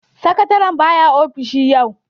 Sakatare ba ya ofishi yau.